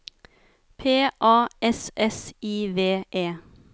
P A S S I V E